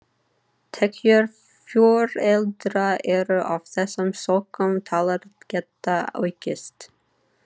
Tekjur foreldra eru af þessum sökum taldar geta aukist.